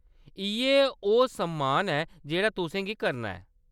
इʼयै ओह्‌‌ सम्मान ऐ जेह्‌‌ड़ा तुसें गी करना ऐ।